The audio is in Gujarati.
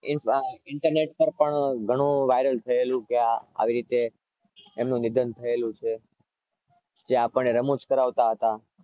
internet પાર ઘણું viral થયેલું કે આવી રીતે એમનું નિધન થયેલું છે તે આપણે રમૂજ કરાવતા હતા